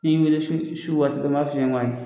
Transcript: I ye n wele su waati n b'a fɔ i ye n ko ayi